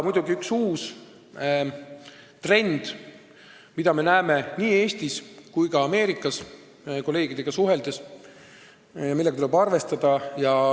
Muidugi on üks uus trend, mida me näeme nii Eestis kui ka Ameerika kolleegidega suheldes ja millega tuleb arvestada.